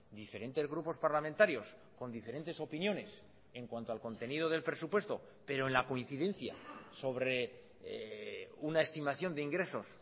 diferentes grupos parlamentarios con diferentes opiniones en cuanto al contenido del presupuesto pero en la coincidencia sobre una estimación de ingresos